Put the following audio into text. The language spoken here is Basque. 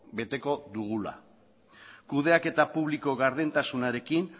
beteko dugula kudeaketa publiko gardentasunarekin